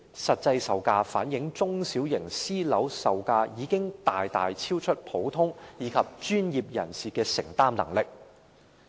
這些數據反映中小型私人樓宇的售價已經大大超出普通市民及專業人士的承擔能力。